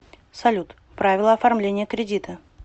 салют правила оформления кредита